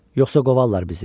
Yoxsa qovarlar bizi.